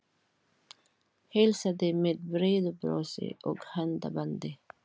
Heilsaði með breiðu brosi og handabandi.